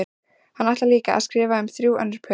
Hann ætlar líka að skrifa um þrjú önnur pör.